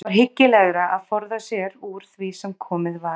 Það var hyggilegra að forða sér úr því sem komið var!